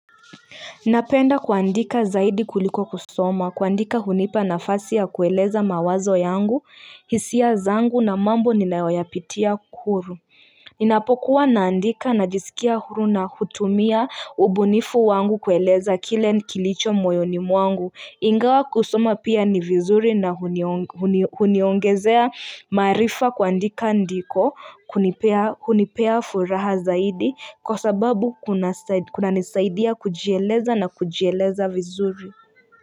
Napenda kuandika zaidi kuliko kusoma, kuandika hunipa nafasi ya kueleza mawazo yangu, hisia zangu na mambo ninayoyapitia kuru. Ninapokuwa naandika najisikia huru na hutumia ubunifu wangu kueleza kile kilicho moyoni mwangu. Ingawa kusoma pia ni vizuri na huniongezea maarifa kuandika ndiko hunipea furaha zaidi kwa sababu kunanisaidia kujieleza na kujieleza vizuri.